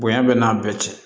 Bonya bɛ n'a bɛɛ cɛ